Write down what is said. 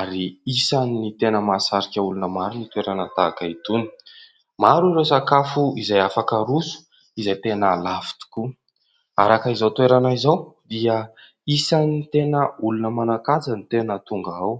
ary isan'ny tena mahasarika olona maro ny toerana tahaka itony. Maro ireo sakafo izay afaka haroso, izay tena lafo tokoa; araka izao toerana izao, dia isan'ny tena olona manan-kaja no tena tonga ao.